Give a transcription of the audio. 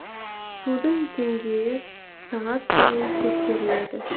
судың деңгейі сағат сайын тексеріледі